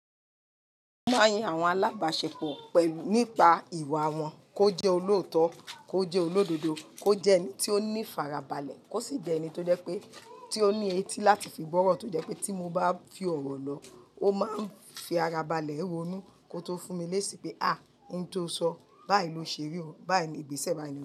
Mo mọ yan àwọn alábàáṣepọ̀ pẹ̀lú nípa ìwà wọn, kó jẹ́ olóòótọ́, kó jẹ́ olódodo, kó jẹ́ ẹni tí ó ní farabalẹ̀, kó sì jẹ́ ẹni tó jẹ́ pé tí ó ní etí láti fi gbọ́ ọ̀rọ̀ tó jẹ́ pé tí mo bá fi ọ̀rọ̀ lọ, ó máa ń fi ara balẹ̀ rọnú ko tó fún mi léṣe pé à n tó sọ báyìí ló ṣeré o, báyìí ìgbésẹ̀ máa ni lọ.